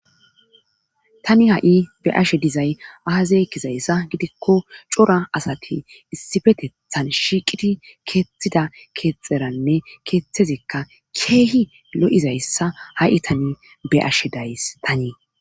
tani ha7i be ashe dizay aazey kizayssa gidikko cora asati issifetethan shiiqidi keetthida keexxeranne keethezikka keehi lo7izayssa ha7i tani be ashe days tanii